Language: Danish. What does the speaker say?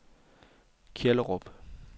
Kjellerup